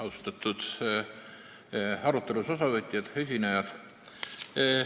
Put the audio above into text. Austatud arutelust osavõtjad, esinejad!